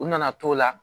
U nana t'o la